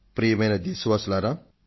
ప్రియమైన నా దేశ వాసులారా